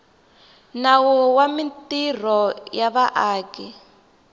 nawu wa mintirho ya vaaki